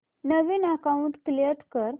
नवीन account create कर